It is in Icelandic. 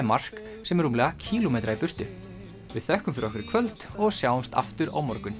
mark sem er rúmlega kílómetra í burtu við þökkum fyrir okkur í kvöld og sjáumst aftur á morgun